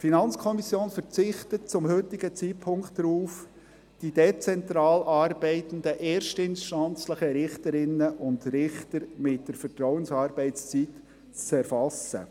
Die FiKo verzichtet zum heutigen Zeitpunkt darauf, die dezentral arbeitenden erstinstanzlichen Richterinnen und Richter mit der Vertrauensarbeitszeit zu erfassen.